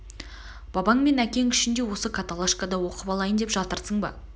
бабаң мен әкең үшін де осы каталашкада оқып алайын деп жатырсың ба